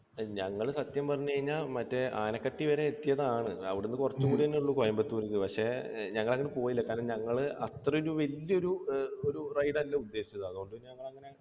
ഞങ്ങൾ സത്യം പറഞ്ഞു കഴിഞ്ഞാൽ മറ്റേ ആനക്കട്ടി വരെ എത്തിയതാണ്. അവിടുന്ന് കുറച്ചു കൂടിയേ ഉള്ളൂ കോയമ്പത്തൂർക്ക്. പക്ഷേ ഞങ്ങൾ അങ്ങോട്ട് പോയില്ല. കാരണം ഞങ്ങൾ അത്ര ഒരു വലിയ ഒരു ride അല്ല ഉദ്ദേശിച്ചത്. അതുകൊണ്ട്